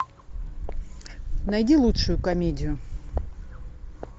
найди лучшую комедию